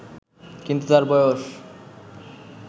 কিন্তু তার বয়স